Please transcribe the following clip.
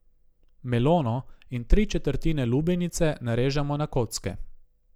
Melono in tri četrtine lubenice narežemo na kocke.